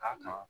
A kan